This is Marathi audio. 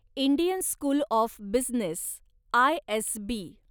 Indian school of business, ISB